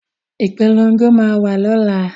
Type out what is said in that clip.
Ìpolongo máa wà lọ́la